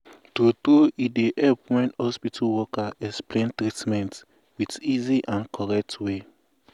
true true e dey help wen hospital worker explain treatment with easy and correct way.